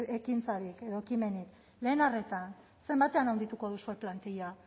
ekintzarik edo ekimenik lehen arreta zenbatean handituko duzue plantilla